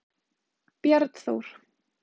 Bjarnþór